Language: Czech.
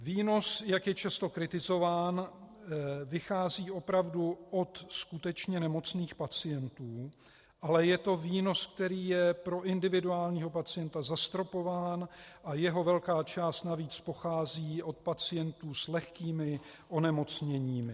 Výnos, jak je často kritizován, vychází opravdu od skutečně nemocných pacientů, ale je to výnos, který je pro individuálního pacienta zastropován, a jeho velká část navíc pochází od pacientů s lehkými onemocněními.